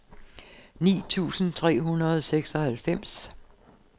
ni tusind tre hundrede og seksoghalvfems